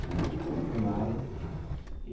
Fiz a escola primária.